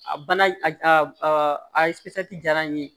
A bana a jara n ye